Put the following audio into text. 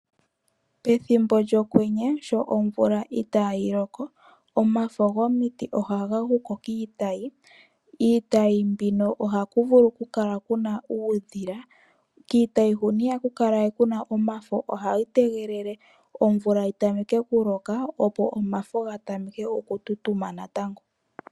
Pethimbo lyokwenye, sho omvula itaayi loko, omafo gomiti ohaga guko kiitayi. Iitayi mbino ohaku vulu oku kala kuna uudhila. kiitayi huno ihaku kala we kuna omafo, ohayi tegelele omvula yi tameke oku loka opo omafo ga tameke oku tutuma natango.